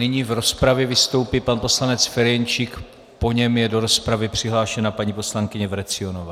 Nyní v rozpravě vystoupí pan poslanec Ferjenčík, po něm je do rozpravy přihlášena paní poslankyně Vrecionová.